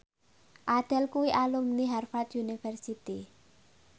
Adele kuwi alumni Harvard university